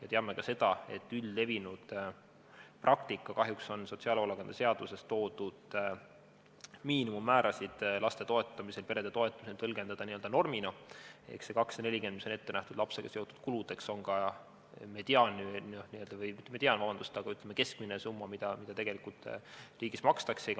Me teame ka seda, et üldlevinud praktika kahjuks on sotsiaalhoolekande seaduses toodud miinimummäärasid laste ja perede toetamisel tõlgendada n-ö normina ehk see 240 eurot, mis on ette nähtud lapsega seotud kuludeks, on ka keskmine summa, mida tegelikult riigis makstakse.